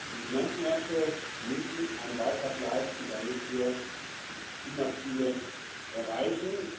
Die Finanzmärkte müssen einen Beitrag leisten, damit wir die Klimaziele erreichen.